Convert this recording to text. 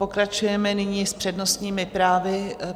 Pokračujeme nyní s přednostními právy.